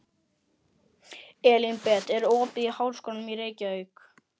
Elínbet, er opið í Háskólanum í Reykjavík?